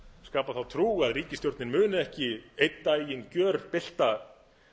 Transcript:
skapa þá trú að ríkisstjórnin muni ekki einn daginn gjörbylta